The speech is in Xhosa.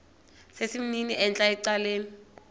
sesimnini entla ecaleni